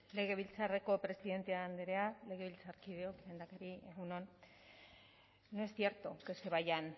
legebiltzarreko presidente andrea legebiltzarkideok lehendakari egun on no es cierto que se vayan